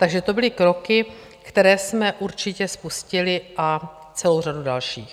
Takže to byly kroky, které jsme určitě spustili, a celou řadu dalších.